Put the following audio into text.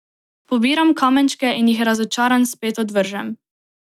Pobiram kamenčke in jih razočaran spet odvržem.